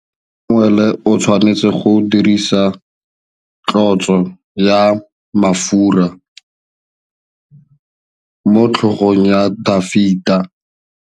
Samuele o tshwanetse go dirisa tlotsô ya mafura motlhôgong ya Dafita.